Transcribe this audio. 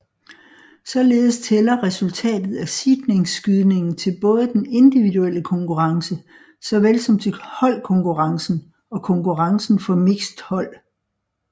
Således tæller resultatet af seedningsskydningen til både den individuelle konkurrence såvel som til holdkonkurrencen og konkurrencen for mixed hold